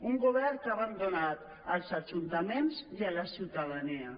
un govern que ha abandonat els ajuntaments i la ciutadania